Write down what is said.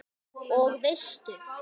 Og veistu.